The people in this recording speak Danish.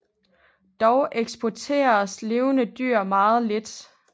Dog eksporteredes levende dyr meget lidt